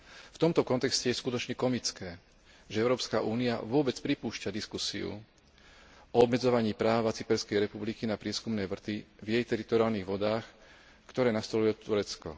V tomto kontexte je skutočne komické, že Európska únia vôbec pripúšťa diskusiu o obmedzovaní práva Cyperskej republiky na prieskumné vrty v jej teritoriálnych vodách, ktorú nastolilo Turecko.